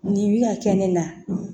Nin bɛ ka kɛ ne na